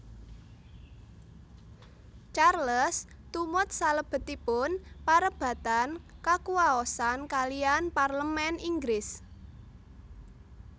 Charles tumut salebetipun parebatan kakuwaosan kaliyan Parlemèn Inggris